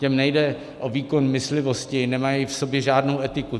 Těm nejde o výkon myslivosti, nemají v sobě žádnou etiku.